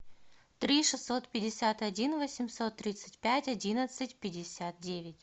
три шестьсот пятьдесят один восемьсот тридцать пять одиннадцать пятьдесят девять